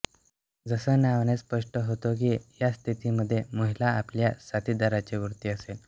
जसं नावानेच स्पष्ट होतं की या स्थितीमध्ये महिला आपल्या साथिदाराच्या वरती असेल